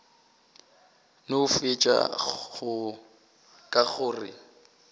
no fetša ka go re